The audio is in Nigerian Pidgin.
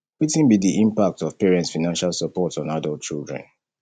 wetin be di impact of parents financial support on adult children